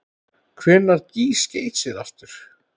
Hvenær gýs Geysir aftur?